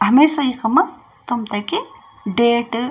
हमेशा इखम तुम्थे कि डेट --